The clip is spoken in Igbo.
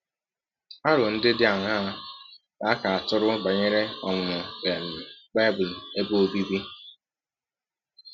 Arọ ndị dị aṅaa ka ka a tụrụ banyere ọmụmụ um Bible ebe ọbịbị?